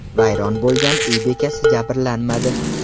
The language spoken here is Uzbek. Vayron bo‘lgan uy bekasi jabrlanmadi.